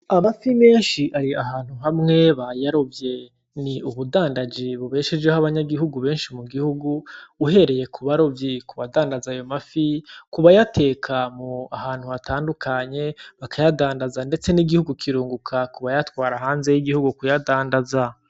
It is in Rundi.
Amafi menshi ari ahantu hamwe bayarovye, ni ubudandaji bubeshejeho abanyagihugu benshi mu gihugu , uhereye kubarovyi, kubadandaza ayo mafi, kubayateka ahantu hatandukanye, bakayadandaza ndetse n'igihugu kirunguka kubayatwara hanze y'igihugu.